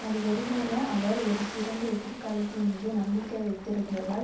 அது வெறுமனே அவர் ஒரு சிறந்த எதிர்காலத்தின் மீது நம்பிக்கை வைத்திருந்ததால்